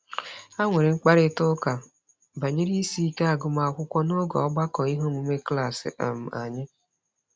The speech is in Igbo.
Ha nwere mkparịtaụka banyere isiike agụmakwụkwọ n'oge ọgbakọ iheomume klaasị um anyị